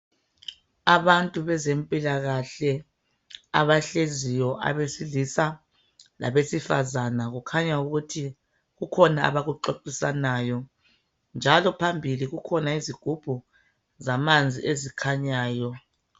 Abantu bezempilakahle abahleziyo abesilisa labesifazana kukhanya ukuthi kukhona abakuxoxisanayo njalo phambili kukhona izigubhu zamanzi ezikhanyayo.